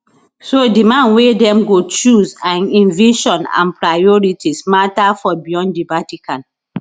so di man wey dem go choose and im vision and priorities mata for beyond di vatican